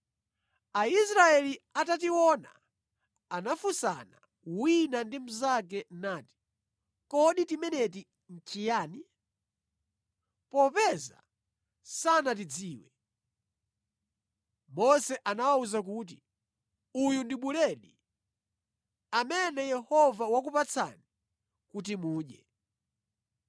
Aisraeli atationa anafunsana wina ndi mnzake nati, “Kodi timeneti nʼchiyani?” Popeza sanatidziwe. Mose anawawuza kuti, “Uyu ndi buledi amene Yehova wakupatsani kuti mudye.